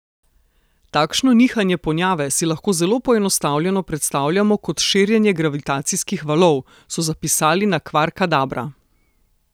Takšno nihanje ponjave si lahko zelo poenostavljeno predstavljamo kot širjenje gravitacijskih valov, so zapisali na Kvarkadabra.